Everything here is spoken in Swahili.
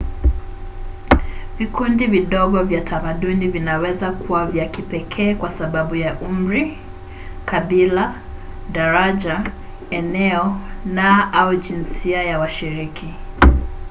vikundi vidogo vya tamaduni vinaweza kuwa vya kipekee kwa sababu ya umri kabila daraja eneo na/au jinsia ya washiriki